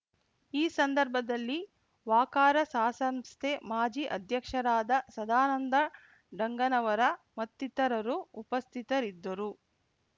ಈ ಸಂದರ್ಭದಲ್ಲಿ ವಾಕರಸಾಸಂಸ್ಥೆ ಮಾಜಿ ಅಧ್ಯಕ್ಷರಾದ ಸದಾನಂದ ಡಂಗನವರ ಮತ್ತಿತರರು ಉಪಸ್ಥಿತರಿದ್ದರು